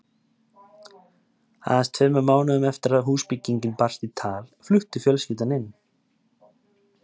Aðeins tveimur mánuðum eftir að húsbyggingin barst í tal flutti fjölskyldan inn.